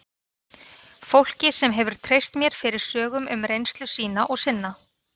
Fólki sem hefur treyst mér fyrir sögum um reynslu sína og sinna.